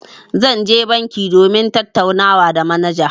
Zan je banki domin tattaunawa da manaja.